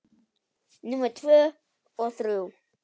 Númer tvö og þrjú.